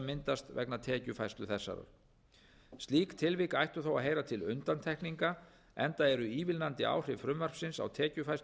myndast vegna tekjufærslu þessarar slík tilvik ættu þó að heyra til undantekninga enda eru ívilnandi áhrif frumvarpsins á tekjufærslu